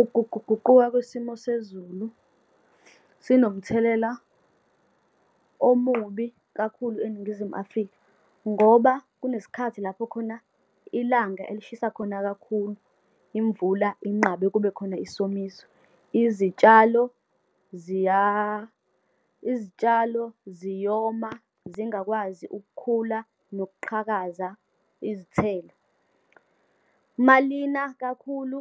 Ukuguquguquka kwesimo sezulu sinomthelela omubi kakhulu eNingizimu Afrika. Ngoba kunesikhathi lapho khona ilanga elishisa khona kakhulu, imvula inqabe, kubekhona isomiso. Izitshalo izitshalo ziyoma, zingakwazi ukukhula, nokuqhakaza izithelo. Uma lina kakhulu,